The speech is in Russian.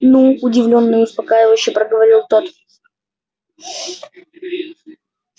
ну удивлённо и успокаивающе проговорил тот